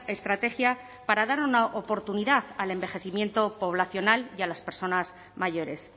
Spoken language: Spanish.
estrategia para dar una oportunidad al envejecimiento poblacional y a las personas mayores